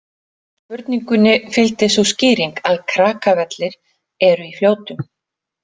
Spurningunni fylgdi sú skýring að Krakavellir eru í Fljótum.